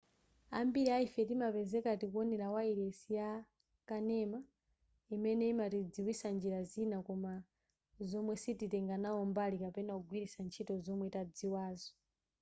ambiri a ife timapezeka tikuwonera wayilesi ya kanema imene imatidziwitsa njira zina koma zomwe sititenga nawo mbali kapena kugwiritsa ntchito zomwe tadziwazo